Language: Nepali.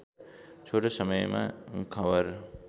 छोटो समयमा खबर